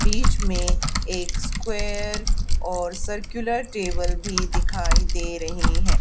बीच में एक स्क्वेयर और सर्कुलर टेबल भी दिखाई दे रहे हैं।